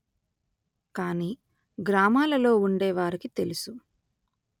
కానీ గ్రామాలలో ఉండేవారికి తెలుసు